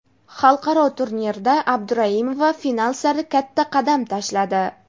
Xalqaro turnirda Abduraimova final sari katta qadam tashladi.